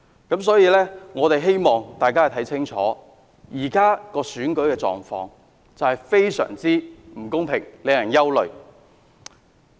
因此，我希望大家看清楚，現時的選舉狀況非常不公平，令人憂慮。